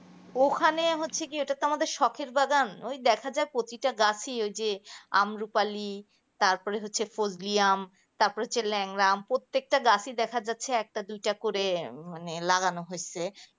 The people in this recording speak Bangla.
ওখানে হচ্ছে কি ওটা তো আমাদের শখের বাগান দেখা যায় প্রতিটা গাছে ঐ যে আম্রোপালি তারপরে হচ্ছে ফজলি আম তারপরে হচ্ছে ল্যাংড়া আম প্রত্যেক টা গাছে দেখা যায়। একটা দুইটা করে লাগানো হয়েছে.